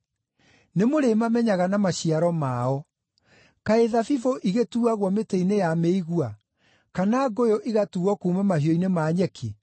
Nĩmũrĩmamenyaga na maciaro mao. Kaĩ thabibũ igĩtuuagwo mĩtĩ-inĩ ya mĩigua, kana ngũyũ igatuuo kuuma mahiũ-inĩ ma nyeki?